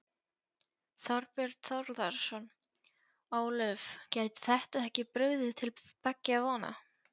Þorbjörn Þórðarson: Ólöf, gæti þetta ekki brugðið til beggja vona?